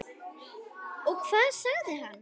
Og hvað sagði hann?